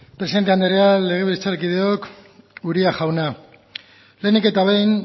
presidente andrea legebiltzarkideok uria jauna lehenik eta behin